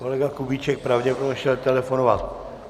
Kolega Kubíček pravděpodobně šel telefonovat.